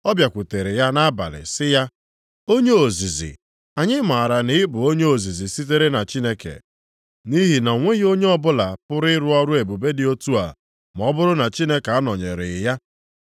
Ọ bịakwutere ya nʼabalị sị ya, “Onye ozizi, anyị maara na ị bụ onye ozizi sitere na Chineke, nʼihi na o nweghị onye ọbụla pụrụ ịrụ ọrụ ebube dị otu a ma ọ bụrụ na Chineke anọnyereghị ya.”